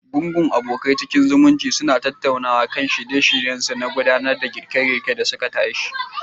Gungun abokai cikin zumuɗi suna tattaunawa kan shirinsu na gwada girke-girke dasu ke tashe.